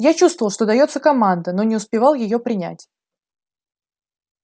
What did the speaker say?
я чувствовал что даётся команда но не успевал её принять